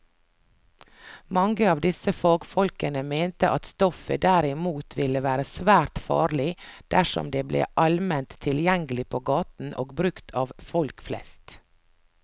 Mange av disse fagfolkene mente at stoffet derimot ville være svært farlig dersom det ble allment tilgjengelig på gaten og brukt av folk flest.